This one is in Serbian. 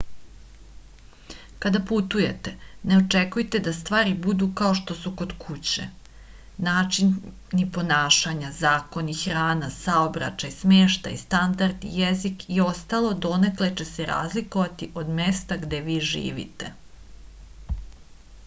kada putujete ne očekujte da stvari budu kao što su kod kuće načini ponašanja zakoni hrana saobraćaj smeštaj standardi jezik i ostalo donekle će se razlikovati od mesta gde vi živite